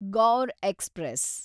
guar express